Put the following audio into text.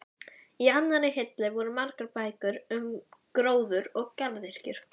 Í annarri hillu voru margar bækur um gróður og garðyrkju.